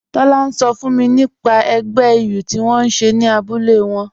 Tọla n sọ fún mi nípà ègbẹ̀ ìyù tí wọn n ṣẹ̀ ní àbúlẹ̀ wọn